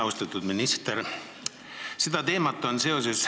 Austatud minister!